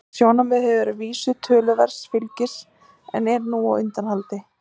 Það sjónarmið hefur að vísu notið töluverðs fylgis en er nú á undanhaldi.